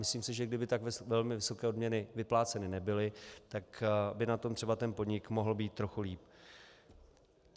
Myslím si, že kdyby tak velmi vysoké odměny vypláceny nebyly, tak by na tom třeba ten podnik mohl být trochu lépe.